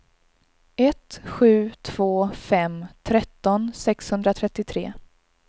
ett sju två fem tretton sexhundratrettiotre